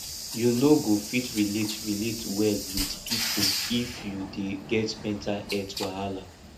you no go fit relate relate well wit pipo if you dey get mental healt wahala